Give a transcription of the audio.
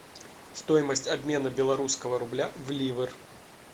стоимость обмена белорусского рубля в ливр